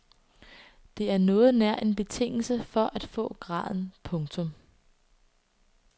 Det er noget nær en betingelse for at få graden. punktum